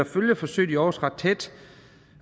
følge forsøget i aarhus ret tæt